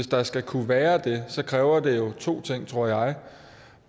der skal kunne være det kræver det to ting tror jeg